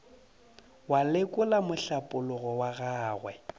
wa lekola mohlapologo wa gagwe